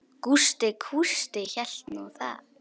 Gústi kústi hélt nú það.